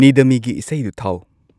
ꯅꯤꯗ ꯃꯤ ꯒꯤ ꯏꯁꯩꯗꯨ ꯊꯥꯎ